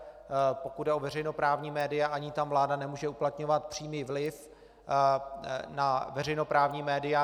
Pokud jde o veřejnoprávní média, ani tam vláda nemůže uplatňovat přímý vliv na veřejnoprávní média.